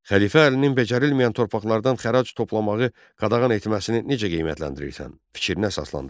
Xəlifə Əlinin becərilməyən torpaqlardan xərac toplamağı qadağan etməsini necə qiymətləndirirsən, fikrinə əsaslandır.